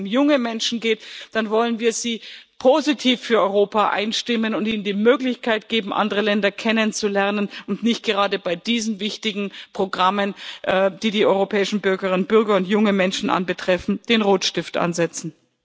Gerade wenn es um junge Menschen geht, dann wollen wir sie positiv für Europa einstimmen und ihnen die Möglichkeit geben, andere Länder kennenzulernen, und nicht gerade bei diesen wichtigen Programmen, die die europäischen Bürgerinnen und Bürger und junge Menschen betreffen, den Rotstift ansetzen.